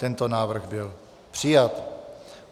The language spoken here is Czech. Tento návrh byl přijat.